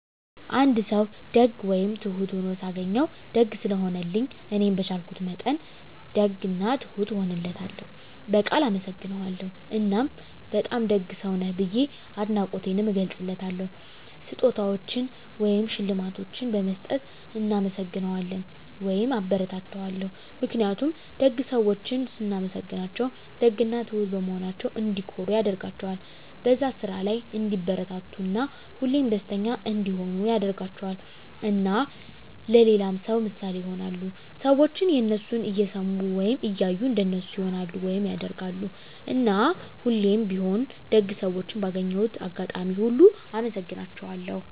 አንድ ሰዉ ደግ ወይም ትሁት ሁኖ ሳገኘዉ፤ ደግ ስለሆነልኝ እኔም በቻልኩት መጠን ደግ እና ትሁት እሆንለታለሁ፣ በቃል አመሰግነዋለሁ እና በጣም ደግ ሰዉ ነህ ብዬ አድናቆቴንም እገልፅለታለሁ። ስጦታዎችን ወይም ሽልማቶችን በመስጠት እናመሰግነዋለሁ (አበረታታዋለሁ) ። ምክንያቱም ደግ ሰዎችን ስናመሰግናቸዉ ደግ እና ትሁት በመሆናቸዉ እንዲኮሩ ያደርጋቸዋል፣ በዛ ስራ ላይ እንዲበረታቱ እና ሁሌም ደስተኛ እንዲሆኑ ያደርጋቸዋል። እና ለሌላ ሰዉ ምሳሌ ይሆናሉ። ሰዎችም የነሱን እየሰሙ ወይም እያዩ እንደነሱ ይሆናሉ (ያደርጋሉ)። እና ሁሌም ቢሆን ደግ ሰዎችን ባገኘሁት አጋጣሚ ሁሉ አመሰግናቸዋለሁ።